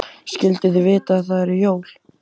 Skyldu þau vita að það eru jól?